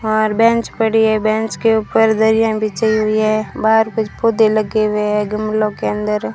और बेंच पड़ी है बेंच के ऊपर दरियां बिछी हुई है बाहर कुछ पौधे लगे हुए हैं गमलों के अंदर।